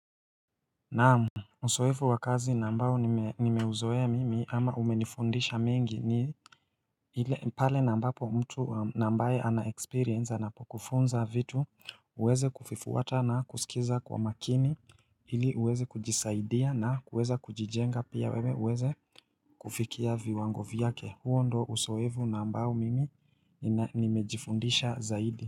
Naam, uzoefu wa kazi na ambao nimeuzoea mimi ama umenifundisha mengi ni ni pale na ambapo mtu ambaye ana experience anapokufunza vitu, uweze kuvifuata na kusikiza kwa makini Ili uweze kujisaidia na kuweza kujijenga pia wewe uweze kufikia viwango vyake huo ndio uzoefu na ambao mimi nimejifundisha zaidi.